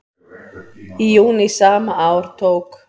Í júní sama ár tók